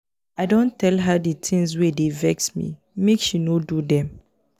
i don tell her di tins wey dey vex me make she no do dem.